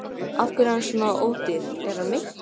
Af hverju er hann svona ódýr, er hann meiddur?